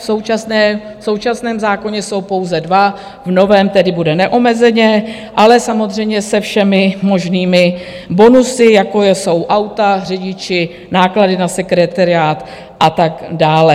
V současném zákoně jsou pouze dva, v novém tedy bude neomezeně, ale samozřejmě se všemi možnými bonusy, jako jsou auta, řidiči, náklady na sekretariát a tak dále.